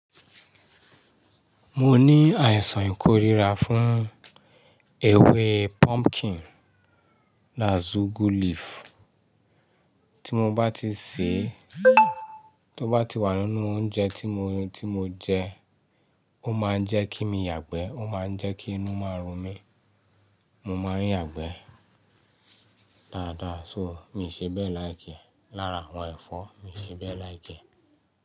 Mo ní àìsàn ìkórira fún ewé pumpkin that's ugu leaf. Tí mo bá ti sè é, tó bá ti wà nínú oúnjẹ tí mo jẹ, ó máa ń jẹ́ kí n yàgbẹ́, ó máa ń jẹ́ kí inú máa run mi. Mo máa ń yàgbẹ́ dáadáa, so mi ìṣe bẹ́ẹ̀ like e. Lára àwọn ẹ̀fọ́ mi ṣe bẹ́ẹ̀ like e.